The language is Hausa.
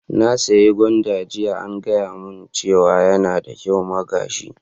Na saya gwanda jiya, an gaya mun cewa yana da kyau ma gashi.